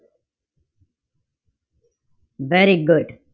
Very good.